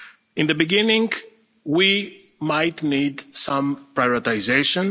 delivery. In the beginning we might need some prioritisation.